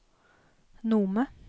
Nome